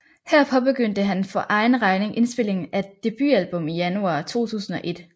Her påbegyndte han for egen regning indspilningen af et debutalbum i januar 2001